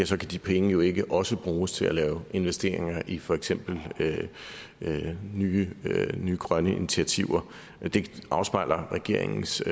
så kan de penge jo ikke også bruges til at lave investeringer i for eksempel nye nye grønne initiativer det afspejler regeringens